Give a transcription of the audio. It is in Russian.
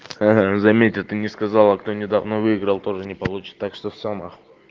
ага заметь а ты не сказала кто недавно выиграл тоже не получится так что все на хуй